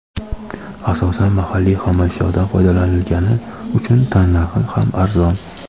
Asosan mahalliy xomashyodan foydalanilgani uchun tannarxi ham arzon.